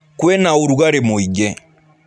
Kwĩna ũrugarĩ mũingĩ.